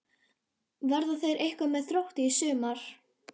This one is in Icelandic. Verða þeir eitthvað með Þrótti í sumar?